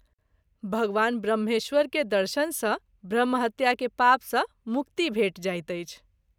भगवान ब्रम्हेश्वर के दर्शन सँ ब्रह्म हत्या के पाप सँ मुक्ति भेटि जाइत अछि।